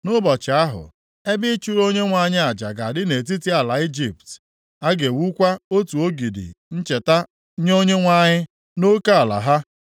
Nʼụbọchị ahụ, ebe ịchụrụ Onyenwe anyị aja ga-adị nʼetiti ala Ijipt. + 19:19 \+xt Jen 28:18; Ọpụ 24:4; Jos 22:10,26,27\+xt* A ga-ewukwa otu ogidi ncheta nye Onyenwe anyị nʼoke ala ha.